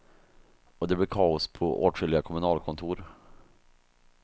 Och det blir kaos på åtskilliga kommunalkontor.